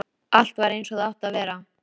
Er það ekki þess vegna sem þeir eru hérna?